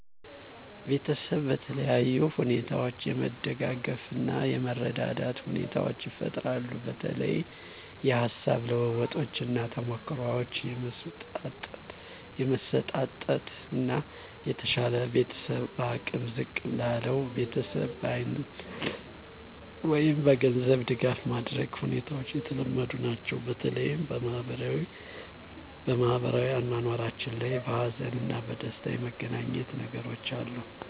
ቤተሰብ በተለያዩ ሁኔታዎች የመደጋገፍ እና የመረዳዳት ሁኔታዎቻ ይፈጠራሉ በተለይ የሀሳብ ልውውጦች እና ተሞክሮዎችን የመሰጣጠት እና የተሻለው ቤተሰብ በአቅም ዝቅ ላለው ቤተሰብ በአይነት ወይም በገንዘብ ድጋፍ ማድረግ ሁኔታዎች የተለመዱ ናቸው። በተለይ በማህበራዊ አኗኗራችን ላይ በሀዘን እና በደስታ የመገናኘት ነገሮች አሉ።